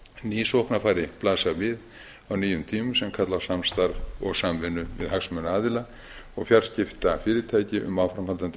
ný sóknarfæri blasa við á nýjum tímum sem kalla á samstarf og samvinnu við hagsmunaaðila og fjarskiptafyrirtæki um áframhaldandi